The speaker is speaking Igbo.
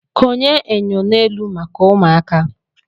Konye enyo n'elu maka ụmụaka.